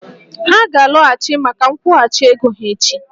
Ha ga-alọghachi maka nkwụghachi ego ha echi